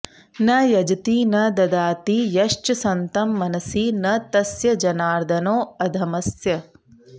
न यजति न ददाति यश्च सन्तं मनसि न तस्य जनार्दनोऽधमस्य